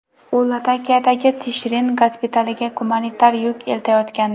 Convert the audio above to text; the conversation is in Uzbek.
U Latakiyadagi Tishrin gospitaliga gumanitar yuk eltayotgandi.